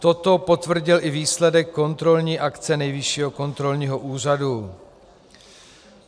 Toto potvrdil i výsledek kontrolní akce Nejvyššího kontrolního úřadu.